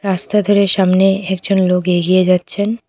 রাস্তা ধারে সামনে একজন লোক এগিয়ে যাচ্ছেন।